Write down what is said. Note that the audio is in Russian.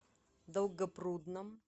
долгопрудном